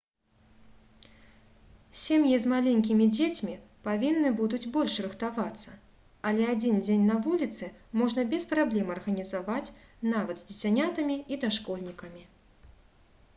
сем'і з маленькімі дзецьмі павінны будуць больш рыхтавацца але адзін дзень на вуліцы можна без праблем арганізаваць нават з дзіцянятамі і дашкольнікамі